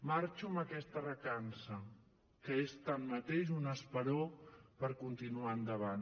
marxo amb aquesta recança que és tanmateix un esperó per continuar endavant